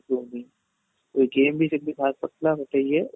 ହଉନି ଏ game ବି ଯେମିତି ବାହାର କରିଥିଲା ଗୋଟେ ଇଏ